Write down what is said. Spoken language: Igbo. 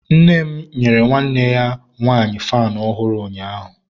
nne m nyere nwanne ya nwanyi faanụ ọ̀hụ̀rụ̀ ụnyaahụ.